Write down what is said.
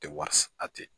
Tɛ wari a tɛ